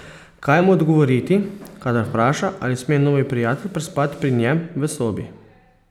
Kaj mu odgovoriti, kadar vpraša, ali sme novi prijatelj prespati pri njem v sobi?